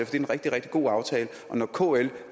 det er en rigtig rigtig god aftale og når kl